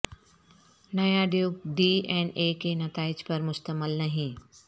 نیا ڈیوک D N A کے نتائج پر مشتمل نہیں